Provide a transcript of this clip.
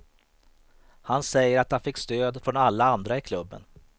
Han säger att han fick stöd från alla andra i klubben.